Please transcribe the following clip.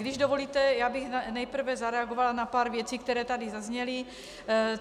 Když dovolíte, já bych nejprve zareagovala na pár věcí, které tady zazněly.